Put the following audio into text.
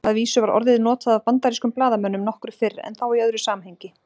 Að vísu var orðið notað af bandarískum blaðamönnum nokkru fyrr en þá í öðru samhengi.